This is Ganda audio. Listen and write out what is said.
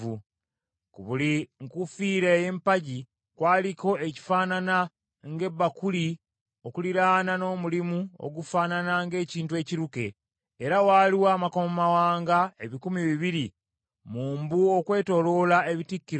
Ku buli nkufiira ey’empagi kwaliko ekifaanana ng’ebakuli okuliraana n’omulimu ogufaanana ng’ekintu ekiruke, era waaliwo amakomamawanga ebikumi bibiri mu mbu okwetooloola ebitikkiro ebyo.